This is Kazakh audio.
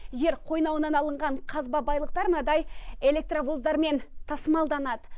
жер қойнауынан алынған қазба байлықтар мынандай электровоздармен тасымалданады